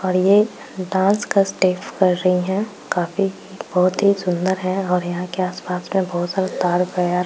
और ये डान्स का स्टेप कर रही हैं | काफी बहोत ही सुंदर है और यहाँ के आस-पास में बहुत सारा तार---